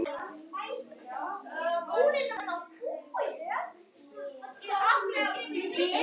Lagði svo hönd á húninn og bjóst til að læðast fram.